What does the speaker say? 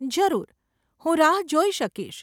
જરૂર, હું રાહ જોઈ શકીશ.